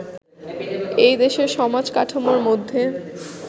এই দেশের সমাজ-কাঠামোর মধ্যে